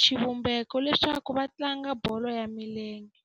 xivumbeko leswaku va tlanga bolo ya milenge.